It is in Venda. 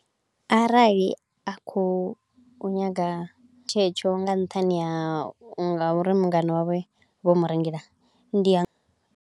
Arali a kho u nyaga tshetsho nga nṱhani ha u nga uri mungana wawe vho murengela, ndi a.